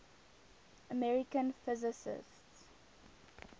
american physicists